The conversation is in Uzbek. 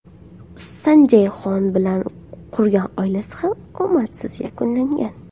Sanjay Xon bilan qurgan oilasi ham omadsiz yakunlangan.